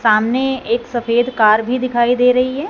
सामने एक सफेद कार भी दिखाई दे रही है।